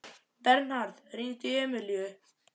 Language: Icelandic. Bernharð, hringdu í Emilíu.